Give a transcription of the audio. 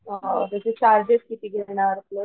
अ त्याचे चार्जेस किती घेणार प्लस